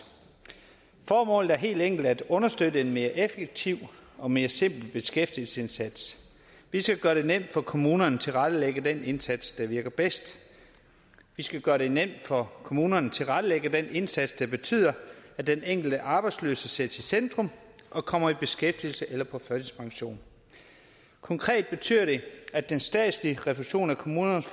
formålet er helt enkelt at understøtte en mere effektiv og mere simpel beskæftigelsesindsats vi skal gøre det nemt for kommunerne at tilrettelægge den indsats der virker bedst vi skal gøre det nemt for kommunerne at tilrettelægge den indsats der betyder at den enkelte arbejdsløse sættes i centrum og kommer i beskæftigelse eller på førtidspension konkret betyder det at den statslige refusion af kommunernes